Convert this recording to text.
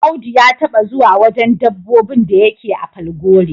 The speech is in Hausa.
Audu ya taba zuwa wajen dabbobin da yake a Falgore.